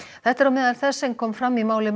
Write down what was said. þetta er á meðal þess sem kom fram í máli